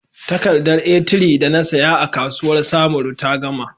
Takardar A3 da na saya a kasuwar samaru ta gama.